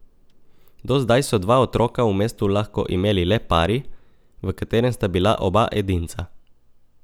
Do zdaj so dva otroka v mestu lahko imeli le pari, v katerem sta bila oba edinca.